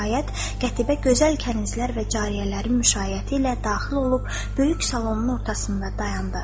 Nəhayət, Qətibə gözəl kənizlər və cariyələri müşayiəti ilə daxil olub, böyük salonun ortasında dayandı.